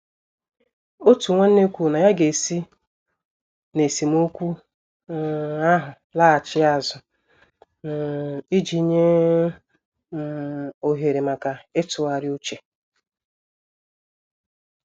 Otu nwanne kwuru na ya ga-esi n' esemokwu um ahụ laghachi azụ um iji nye um ohere maka ịtụgharị uche.